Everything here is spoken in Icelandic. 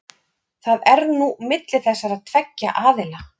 Það er nú milli þessara tveggja aðila.